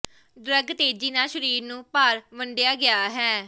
drug ਤੇਜ਼ੀ ਨਾਲ ਸਰੀਰ ਨੂੰ ਭਰ ਵੰਡਿਆ ਗਿਆ ਹੈ